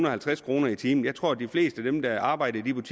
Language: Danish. og halvtreds kroner i timen jeg tror at de fleste af dem der arbejder